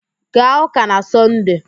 Gaa ụ́kà na Sọnde!